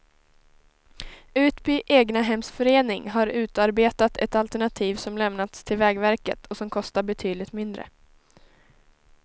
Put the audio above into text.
Utby egnahemsförening har utarbetat ett alternativ som lämnats till vägverket och som kostar betydligt mindre.